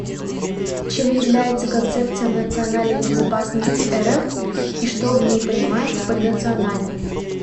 чем является концепция национальной безопасности рф и что в ней понимается под национальной